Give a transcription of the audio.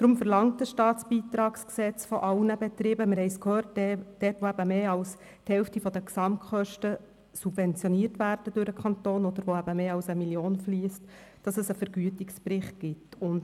Deshalb verlangt das StBG von allen Betrieben, bei denen der Kanton mehr als die Hälfte der Gesamtkosten subventioniert oder bei denen mehr als 1 Mio. Franken fliessen, einen Vergütungsbericht – wir haben es bereits gehört.